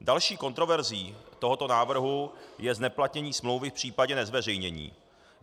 Další kontroverzí tohoto návrhu je zneplatnění smlouvy v případě nezveřejnění.